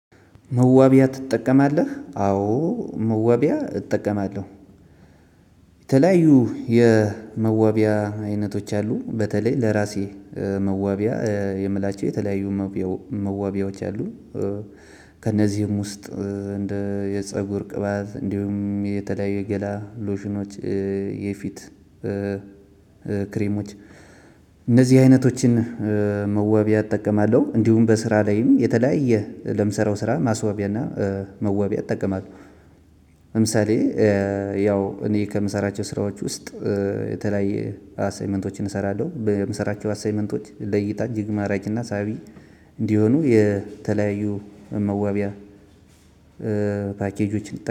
መዋቢያ ትጠቀማለህ? አዎ መዋቢያ እጠቀማለሁ። የተለያዩ የመዋቢያ አይነቶች አሉ በተለይ ለራሴ መዋቢያ የምላቸው የተለያዩ መዋቢያዎች አሉ። ከእነዚህም ውስጥ እንደ የፀጉር ቅባት እንዲሁም የተለያዩ የገላ ሎሽኖች የፊት ክሬሞች እነዚህ አይነቶችን መወቢያ እጠቀማለሁ። እንዲሁም በስራ ላይም የተለያየ ለምሰራው ስራ ማስወቢያና መዋቢያ እጠቀማለሁ። ለምሳሌ ያው እኔ ከምሰራቸው ስራዎች ውስጥ የተለያየ አሳይመንቶችን እሰራለሁ በምሰራቸው አሳይመንቶች ለይታ እጅግ ማራጅና ሳቢ እንዲሆኑ የተለያዩ መዋቢያ ፓኬጆች